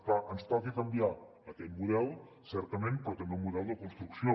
clar ens toca canviar aquest model certament però també el model de construcció